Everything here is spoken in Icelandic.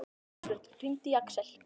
Kristbjörg, hringdu í Aksel.